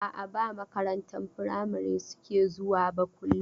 A'a, ba makarantar firamari suke zuwa ba kullum.